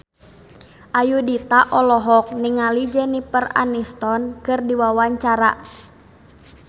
Ayudhita olohok ningali Jennifer Aniston keur diwawancara